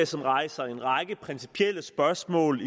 som rejser en række principielle spørgsmål